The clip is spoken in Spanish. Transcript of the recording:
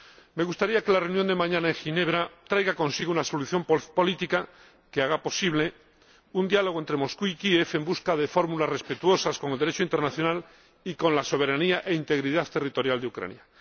Me gustaría que la reunión de mañana en Ginebra trajera consigo una solución política que haga posible un diálogo entre Moscú y Kiev en busca de fórmulas respetuosas con el Derecho internacional y con la soberanía e integridad territorial de Ucrania.